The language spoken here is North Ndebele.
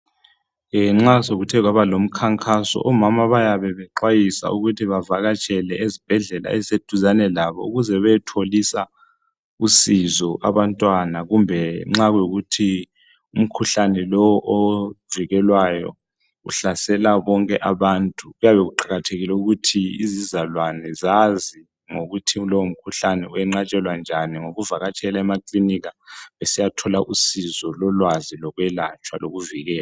nxa sekuthe kwaba lomkhankaso omama bayabe bexwayiswa ukuthi bavakatshele ezibhedlela ezise duzane labo ukuze beyetholisisa usizo abantu abantwana kumbe nxa kuyikuthi umkhuhlane lo ovikelwayo uhlasela bonke abantu kuyabe kuqakathekile ukuthi izizalwane zazi ngokuthi lowo mkhuhlane unganqatshelwa njani ngokuvakatshela emakilinika besiyathola usizo lokulatshwa lolwazi lokuvikela